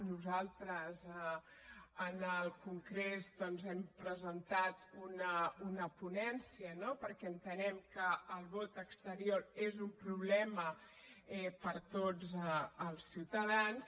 nosaltres en el congrés doncs hem presentat una ponència no perquè entenem que el vot exterior és un problema per a tots els ciutadans